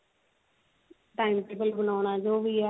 time table ਬਣਾਉਣਾ ਜੀ ਵੀ ਹੈ